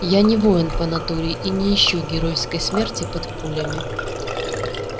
я не воин по натуре и не ищу геройской смерти под пулями